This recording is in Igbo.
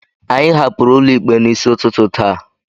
anyị hapụrụ ụlọ ikpe n'isi ụtụtụ taa